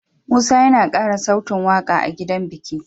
Musa yAna kara sautin waƙa a gidan biki